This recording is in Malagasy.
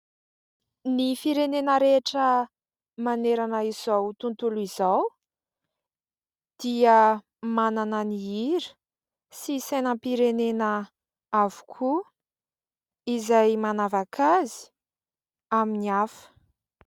Ny firenena rehetra manerana izao tontolo izao dia manana ny hira sy sainam-pirenena avokoa, izay manavaka azy amin'ny hafa.